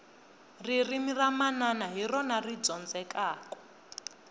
ririmi ra manana hi rona ri dyondzekaku